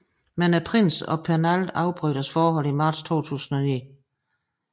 Men prinsen og Pernald afbrød deres forhold i marts 2009